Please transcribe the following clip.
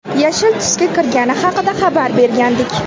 yashil tusga kirgani haqida xabar bergandik.